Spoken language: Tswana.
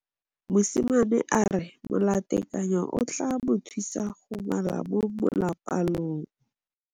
Mosimane a re molatekanyô o tla mo thusa go bala mo molapalong.